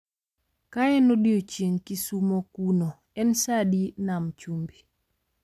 Kaen odiechieng kisumo kuno en saa adi nam chumbi